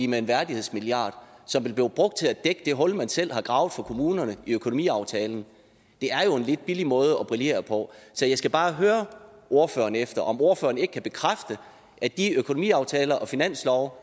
med en værdighedsmilliard som vil blive brugt til at dække det hul man selv har gravet for kommunerne i økonomiaftalen er jo en lidt billig måde at brillere på så jeg skal bare høre ordføreren efter om ordføreren ikke kan bekræfte at de økonomiaftaler og finanslove